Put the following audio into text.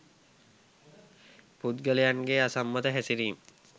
පුද්ගලයන්ගේ අසම්මත හැසිරීම්